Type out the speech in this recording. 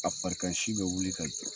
a farikan si bɛ wuli ka jɔ